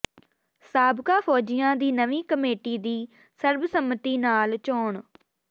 ਸਾਬਕਾ ਫ਼ੌਜੀਆਂ ਦੀ ਨਵੀਂ ਕਮੇਟੀ ਦੀ ਸਰਬਸੰਮਤੀ ਨਾਲ ਚੋਣ